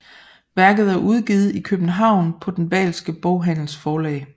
Værket er udgivet i København på den Wahlske Boghandels Forlag